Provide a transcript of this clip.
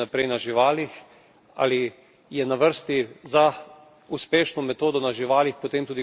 Ali je na vrsti za uspešno metodo na živalih potem tudi kloniranje na ljudeh?